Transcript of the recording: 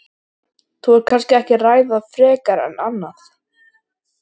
Þú vilt kannski ekki ræða það frekar en annað?